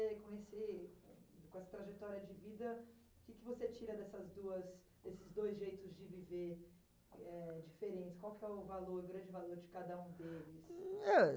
você conhecer, com essa trajetória de vida, o que que você tira dessas duas, desses dois jeitos de viver, eh, diferentes? Qual que foi o valor, o grande valor de cada um deles? Hm, eh,